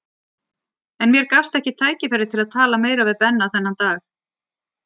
En mér gafst ekkert tækifæri til að tala meira við Benna þennan dag.